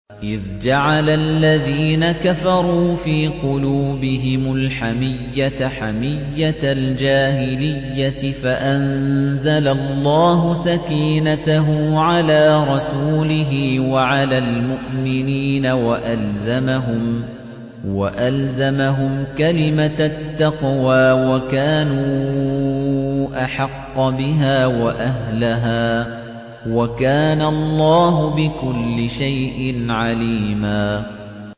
إِذْ جَعَلَ الَّذِينَ كَفَرُوا فِي قُلُوبِهِمُ الْحَمِيَّةَ حَمِيَّةَ الْجَاهِلِيَّةِ فَأَنزَلَ اللَّهُ سَكِينَتَهُ عَلَىٰ رَسُولِهِ وَعَلَى الْمُؤْمِنِينَ وَأَلْزَمَهُمْ كَلِمَةَ التَّقْوَىٰ وَكَانُوا أَحَقَّ بِهَا وَأَهْلَهَا ۚ وَكَانَ اللَّهُ بِكُلِّ شَيْءٍ عَلِيمًا